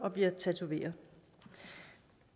at blive tatoveret